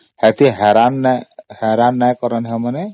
ଏମାନେ ଏତେ ହଇରାଣ କରନ୍ତିନି